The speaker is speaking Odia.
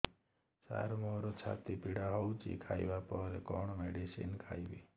ସାର ମୋର ଛାତି ପୀଡା ହଉଚି ଖାଇବା ପରେ କଣ ମେଡିସିନ ଖାଇବି